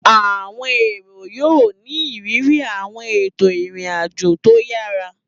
Àwọn èrò yóò ní ìrírí àwọn ètò ìrìn àjò tó yára